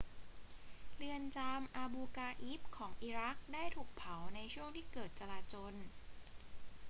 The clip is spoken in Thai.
เรือนจำอาบูกราอิบของอิรักได้ถูกเผาในช่วงที่เกิดการจราจล